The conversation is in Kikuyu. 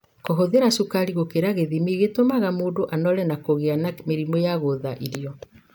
Kũhũthira cukari gũkĩra gĩthimi gũtumaga mũndũ anore na kũgia mĩrimũ ya gũtha irio.